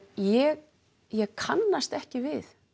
ég ég kannast ekki við